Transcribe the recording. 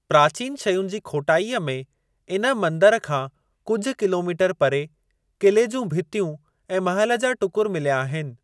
प्राचीन शयुनि जी खोटाईअ में इन मंदर खां कुझु किलोमीटर परे क़िले जूं भितियूं ऐं महल जा टुकर मिल्या आहिनि।